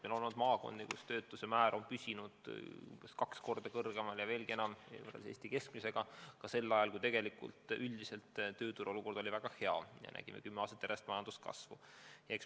Meil on maakondi, kus töötuse määr on püsinud umbes kaks korda ja veelgi enam kõrgem kui Eesti keskmine ka sel ajal, kui üldiselt tööturu olukord oli väga hea ja kui me kümme aastat järjest majanduskasvu nägime.